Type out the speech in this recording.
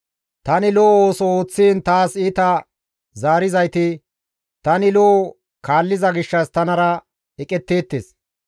Tani lo7o ooso ooththiin taas iita zaarizayti tani lo7o kaalliza gishshas tanara eqetteettes.